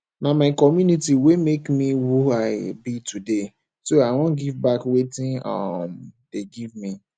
na my community wey make me who i be today so i wan give back wetin um dey give me